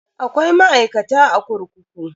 Akwai ma'aikata a kurkuku.